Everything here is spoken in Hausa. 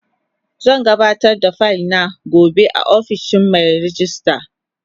Zan gabatar da fayil na gobe a ofishin Mai rejista.